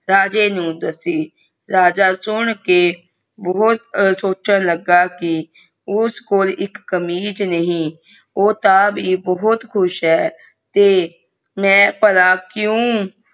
ਰਾਜਾ ਨੂੰ ਦੱਸੀ ਰਾਜਾ ਸੁਨ ਕੇ ਬਹੁਤ ਸਿਚਨਾ ਲਗਾ ਕਿ ਉਸ ਕਲੋ ਕਮੀਜ਼ ਨਹੀਂ ਉਹ ਤਾ ਵੀ ਬਹੁਤ ਖੁਸ਼ ਅ ਤੇ ਮੈ ਭਲਾ ਕਿਊ